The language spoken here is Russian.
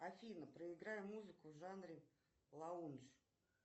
афина проиграй музыку в жанре лаунж